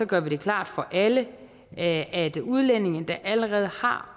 gør vi det klart for alle at at udlændinge der allerede har